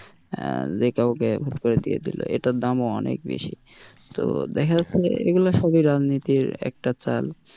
আহ যে কাউকে হুট করে দিয়ে দিল এটার দামও অনেক বেশি তো দেখা যাচ্ছে যে এগুলো সবই রাজনীতির একটা চাল।